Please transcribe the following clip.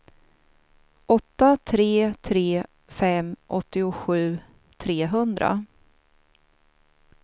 åtta tre tre fem åttiosju trehundra